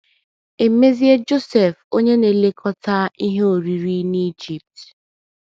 E mezie Josef onye na - elekọta ihe oriri n’Ijipt.